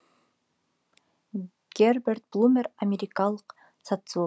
герберт блумер америкалық социолог